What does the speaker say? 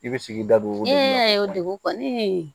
I bɛ sigida don e y'a ye o dugu kɔni